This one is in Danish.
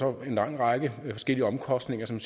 jo en lang række forskellige omkostninger som